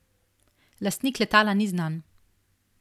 Lastnik letala ni znan.